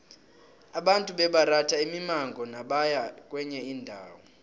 abantu bebaratha imimango nabaya kwenye indawo